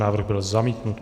Návrh byl zamítnut.